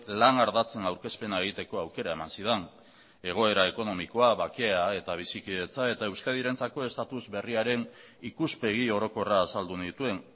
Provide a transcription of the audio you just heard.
lan ardatzen aurkezpena egiteko aukera eman zidan egoera ekonomikoa bakea eta bizikidetza eta euskadirentzako estatus berriaren ikuspegi orokorra azaldu nituen